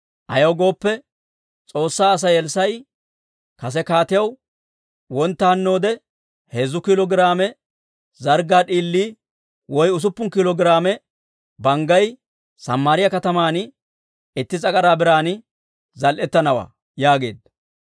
Ayaw gooppe, S'oossaa Asay Elssaa'i kase kaatiyaw, «Wontta hannoode heezzu kiilo giraame zarggaa d'iilii woy usuppun kiilo giraame banggay Samaariyaa kataman itti s'agaraa biran zal"etanawaa» yaageedda.